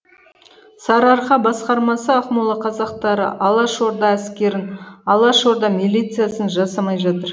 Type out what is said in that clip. сарыарқа басқармасы ақмола қазақтары алашорда әскерін алашорда милициясын жасамай жатыр